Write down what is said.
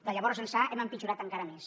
de llavors ençà hem empitjorat encara més